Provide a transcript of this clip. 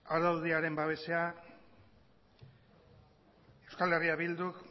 araudiaren babesean euskal herria bilduk